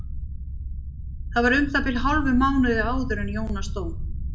Það var um það bil hálfum mánuði áður en Jónas dó.